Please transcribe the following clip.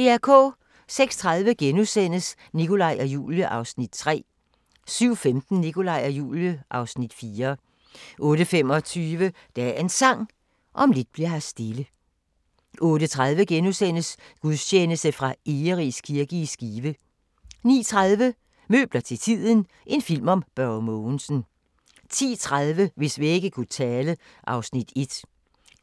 06:30: Nikolaj og Julie (Afs. 3)* 07:15: Nikolaj og Julie (Afs. 4) 08:25: Dagens Sang: Om lidt bli'r her stille 08:30: Gudstjeneste fra Egeris kirke i Skive * 09:30: Møbler til tiden – en film om Børge Mogensen 10:30: Hvis vægge kunne tale (Afs.